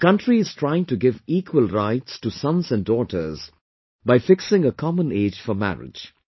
The country is trying to give equal rights to sons and daughters by fixing a common age for marriage